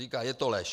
Říká: Je to lež.